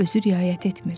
özü riayət etmir.